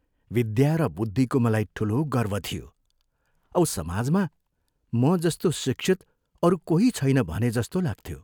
विद्यार बुद्धिको मलाई ठूलो गर्व थियो औ समाजमा म जस्तो शिक्षित अरू कोही छैन भने जस्तो लाग्थ्यो।